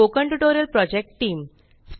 spoken tutorial project team